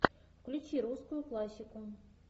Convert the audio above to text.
включи русскую классику